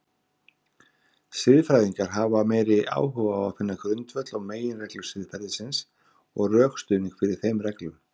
Siðfræðingar hafa meiri áhuga á finna grundvöll og meginreglur siðferðisins og rökstuðning fyrir þeim reglum.